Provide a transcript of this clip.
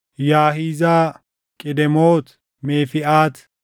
Yaahizaa, Qidemoot, Meefiʼaat,